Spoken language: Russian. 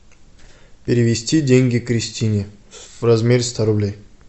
перевести деньги кристине в размере ста рублей